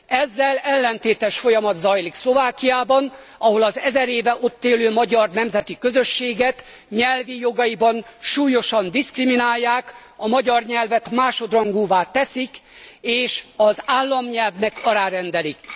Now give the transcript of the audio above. Ezzel ellentétes folyamat zajlik Szlovákiában, ahol az ezer éve ott élő magyar nemzeti közösséget nyelvi jogaiban súlyosan diszkriminálják, a magyar nyelvet másodrangúvá teszik, és az államnyelvnek alárendelik.